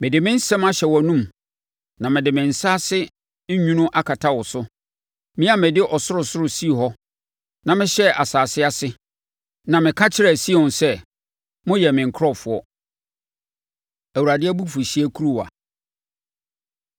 Mede me nsɛm ahyɛ wʼanomu, na mede me nsa ase nwunu akata wo so. Me a mede ɔsorosoro sii hɔ na mehyɛɛ asase ase na meka kyerɛ Sion sɛ, ‘Moyɛ me nkurɔfoɔ.’ ” Awurade Abufuhyeɛ Kuruwa